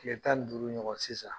Kile tan ni duuru ɲɔgɔn sisan